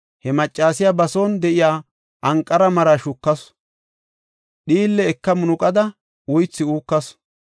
He maccasiya ba son de7iya anqara maraa shukasu; dhiille eka munuqada, uythi uukasu.